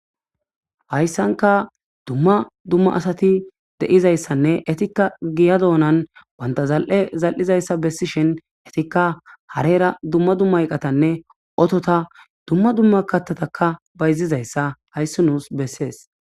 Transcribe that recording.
Haysanka duma duma asati de'izayisanne ettika giya dunani banta zal'e zal'izaysa besishin etika harera duma duma eqata otota duma duma kathata bayzaysa haysi nus beses